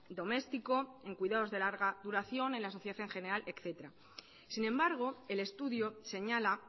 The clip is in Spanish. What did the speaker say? doméstico en cuidados de larga duración en la sociedad en general etcétera sin embargo el estudio señala